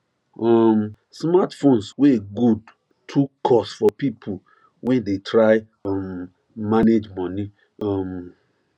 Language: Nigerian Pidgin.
um smartphones wey good too cost for people wey dey try um manage money um